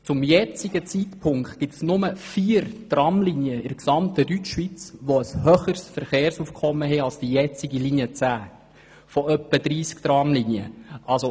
Zum jetzigen Zeitpunkt weisen in der gesamten Deutschschweiz nur vier von etwa 30 Tramlinien ein höheres Verkehrsaufkommen auf als die derzeitige Linie 10.